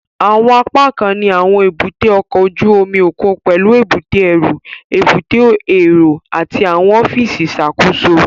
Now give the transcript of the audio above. Àwọn apákan ní àwọn èbúté ọkọ̀ ojú omi òkun pẹlú èbúté ẹrú, èbúté èrò àti àwọn ọfíìsì ìṣàkóso